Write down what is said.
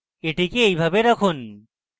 এটিকে এইভাবে রাখুন